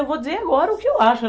Eu vou dizer agora o que eu acho.